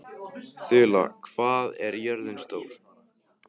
Þula, hvað er jörðin stór?